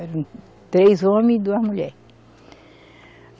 Eram três homens e duas mulher.